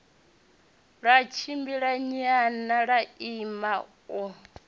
ḽa tshimbilanyana ḽa ima u